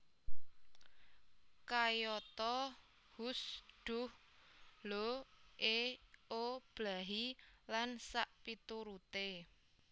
Kayata hus dhuh lho e o blahi lsp